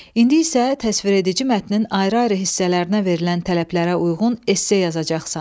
İndi isə təsviredici mətnin ayrı-ayrı hissələrinə verilən tələblərə uyğun esse yazacaqsan.